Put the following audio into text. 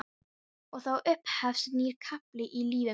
Og þá upphefst nýr kafli í lífi mínu.